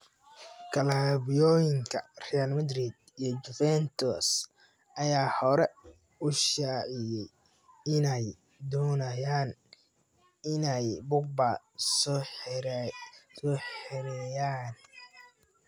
"Klabuoyinka Real Madrid iyo Juventus ayaa hore u shaaciyay inay doonayaan inay Pogba soo xereeyaan."